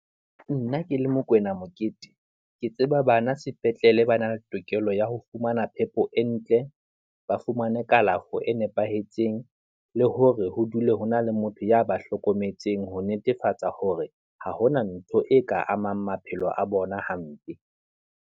Nna ke le Mokoena Mokete, ke tseba bana sepetlele ba na le tokelo ya ho fumana phepo e ntle, ba fumane kalafo e nepahetseng, le hore ho dule ho na le motho ya ba hlokometseng, ho netefatsa hore ha hona ntho e ka amang maphelo a bona hampe.